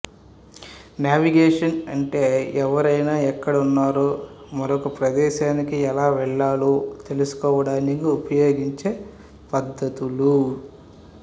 navigation అంటే ఎవరైనా ఎక్కడ ఉన్నారో మరొక ప్రదేశానికి ఎలా వెళ్ళాలో తెలుసుకోవడానికి ఉపయోగించే పద్ధతులు